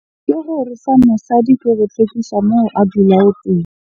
Ke gore sa mosadi ke go hlwekisa moo a dulang teng.